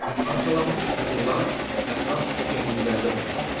Parçalanmış süxurlar ətraf çökəkliklərdə toplanır.